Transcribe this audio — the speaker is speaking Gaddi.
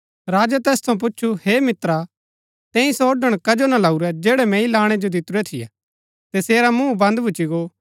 राजै तैस थऊँ पुछु हे मित्रा तैंई सो ओड़ण कजो ना लाऊरै जैड़ै मैंई लाणै जो दितुरै थियै तसेरा मूँह बन्द भूच्ची गो